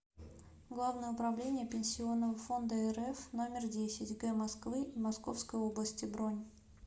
главное управление пенсионного фонда рф номер десять г москвы и московской области бронь